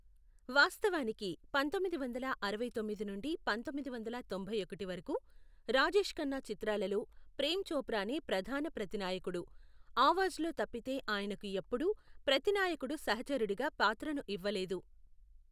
వాస్తవానికి, పంతొమ్మిది వందల అరవై తొమ్మిది నుండి పంతొమ్మిది వందల తొంభై ఒకటి వరకు, రాజేష్ ఖన్నా చిత్రాలలో ప్రేమ్ చోప్రానే ప్రధాన ప్రతినాయకుడు, అవాజ్లో తప్పితే ఆయనకు ఎప్పుడు ప్రతినాయకుడు సహచరుడిగా పాత్రను ఇవ్వలేదు .